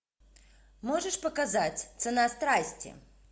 можешь показать цена страсти